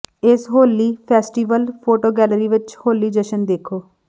ਇਸ Holi festival photo gallery ਵਿਚ ਹੋਲੀ ਜਸ਼ਨ ਦੇਖੋ